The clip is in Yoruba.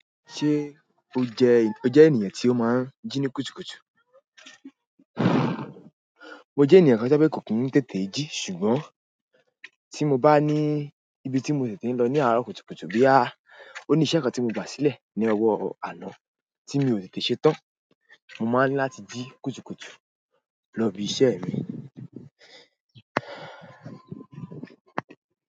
Ṣé o jẹ́, o jẹ́ ènìyàn tí ó máa ń jí ní kùtùkùtù? Mo jẹ́ ènìyàn kan tí ó jẹ́ pe kò kín ń tètè jí ṣùgbọ́n tí mo bá ní ibi tí mo tètè lọ ní àárọ̀ kùtùkùtù bíi a, oníṣẹ́ kan tí mo gbà sílẹ̀ ní ọwọ́ àná tí mi ò tètè ṣe tán, mo máa ń ní láti jí kùtùkùtù lọ ibi iṣẹ́ mi.